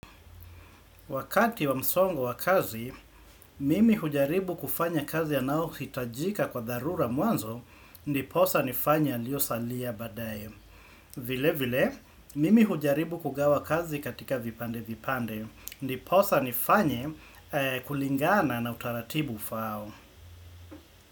Wakati wa msongo wa kazi, mimi hujaribu kufanya kazi ya nao hitajika kwa darura muanzo, ndiposa nifanye yalio salia badaye. Vile vile, mimi hujaribu kugawa kazi katika vipande vipande, niposa nifanye kulingana na utaratibu ufao.